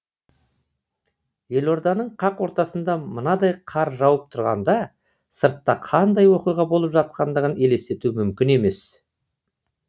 елорданың қақ ортасында мынадай қар жауып тұрғанда сыртта қандай оқиға болып жатқандығын елестету мүмкін емес